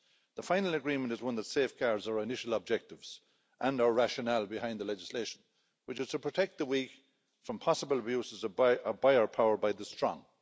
The final agreement is one that safeguards our initial objectives and our rationale behind the legislation, which is to protect the weak from possible abuses of buyer power by the strong.